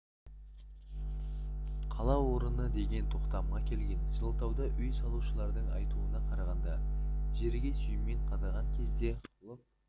қала орыны деген тоқтамға келген жылытауда үй салушылардың айтуына қарағанда жерге сүймен қадаған кезде лып